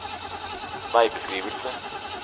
veibeskrivelse